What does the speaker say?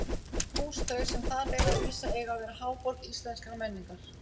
Hús þau, sem þar eiga að rísa, eiga að verða háborg íslenskrar menningar!